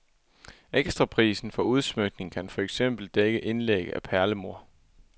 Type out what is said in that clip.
Ekstraprisen for udsmykning kan for eksempel dække indlæg af perlemor.